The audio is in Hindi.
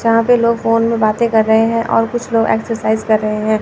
जहां पे लोग फोन में बाते कर रहे है और कुछ लोग एक्सरसाइज कर रहे है।